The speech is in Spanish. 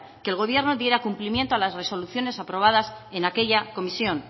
que el gobierno diera cumplimiento a las resoluciones aprobadas en aquella comisión